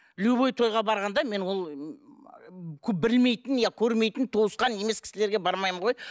любой тойға барғанда мен ол білмейтін иә көрмейтін туысқан емес кісілерге бармаймын ғой